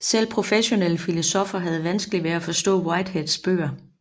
Selv professionelle filosoffer havde vanskeligt ved at forstå Whiteheads bøger